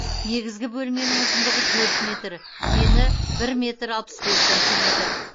негізгі бөлменің ұзындығы төрт метр ені бір метр алпыс бес сантиметр